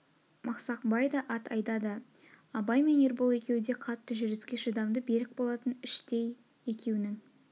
масақбай да ат айдады абай мен ербол екеу де қатты жүрске шыдамды берік болатын іштей екеунің